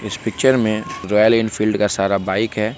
इस पिक्चर में Royal Enfield का सारा बाइक है।